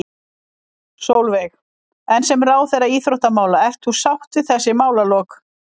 Sólveig: En sem ráðherra íþróttamála, ert þú sátt við þessi málalok?